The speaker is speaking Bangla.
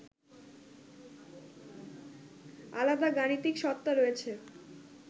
আলাদা গাণিতিক সত্তা রয়েছে